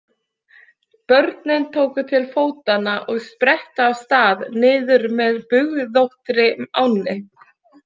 Börnin tóku til fótanna og sprettu af stað niður með bugðóttri ánni.